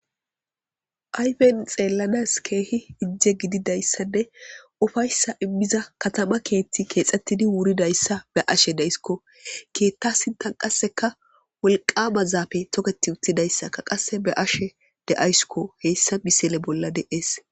Ayfen xeellanas keehi ijje gididayssane ufayssa immiza katama keetti keexxettidi wuridayssa be ashe deyskko keetta sintan qasseka wolqama zaafe toketi uttidayssaka qasse be ashe de'ayskko heyssa bisele bolla de'ees.